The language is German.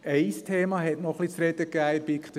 Ein Thema gab in der BiK ein wenig zu reden.